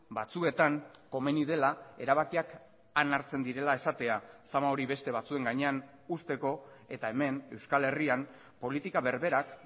batzuetan komeni dela erabakiak han hartzen direla esatea sama hori beste batzuen gainean uzteko eta hemen euskal herrian politika berberak